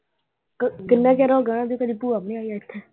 ਕਿੰਨਾ ਚਿਰ ਹੋ ਗਿਆ ਉਨ੍ਹਾਂ ਦੀ ਕਦੇ ਭੂਆ ਵੀ ਨਹੀਂ ਆਈ ਇਥੇ।